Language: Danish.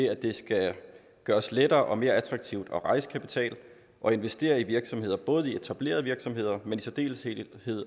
at det skal gøres lettere og mere attraktivt at rejse kapital og investere i virksomheder både etablerede virksomheder men i særdeleshed